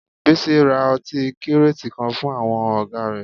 Bísí ra ọtí kíràtì kan fún àwọn ọ̀gá rẹ̀